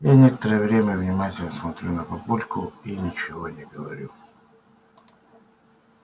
я некоторое время внимательно смотрю на папульку и ничего не говорю